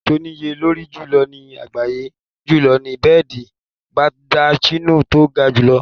Bẹ́ẹ̀dì tó níye lórí jùlọ ní àgbáyé jùlọ ni bẹ́ẹ̀dì Beldachino tó ga jù lọ.